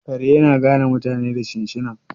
kare yana gane mutane ta shinshina